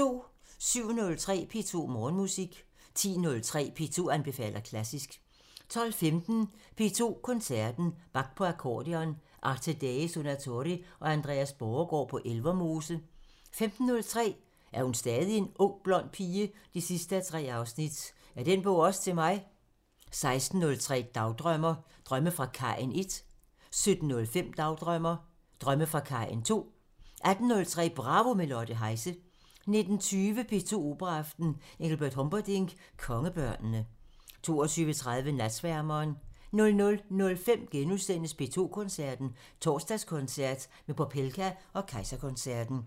07:03: P2 Morgenmusik 10:03: P2 anbefaler klassisk 12:15: P2 Koncerten – Bach på akkordeon – Arte Dei Suonatori og Andreas Borregaard på Elvermose 15:03: Er hun stadig en ung, blond pige? 3:3 – Er den bog også til mig? 16:03: Dagdrømmer: Drømme fra kajen 1 17:05: Dagdrømmer: Drømme fra kajen 2 18:03: Bravo – med Lotte Heise 19:20: P2 Operaaften – E. Humperdinck: Kongebørnene 22:30: Natsværmeren 00:05: P2 Koncerten – Torsdagskoncert med Popelka og Kejserkoncerten *